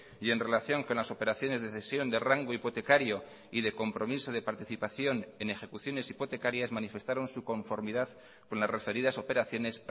y en relación con las operaciones de cesión de rango hipotecario y de compromiso de participación en ejecuciones hipotecarias manifestaron su conformidad con las referidas operaciones